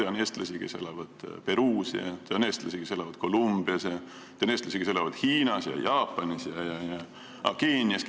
Ma tean eestlasi, kes elavad Peruus, ja on eestlasi, kes elavad Kolumbias, ja on eestlasi, kes elavad Hiinas ja Jaapanis, samuti Keenias.